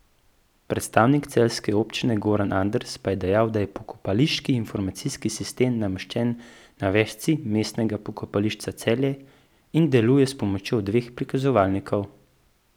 Predstavnik celjske občine Goran Anders pa je dejal, da je pokopališki informacijski sistem nameščen na vežici Mestnega pokopališča Celje in deluje s pomočjo dveh prikazovalnikov.